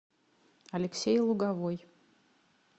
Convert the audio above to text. алексей луговой